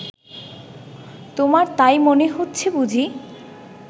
তোমার তাই মনে হচ্ছে বুঝি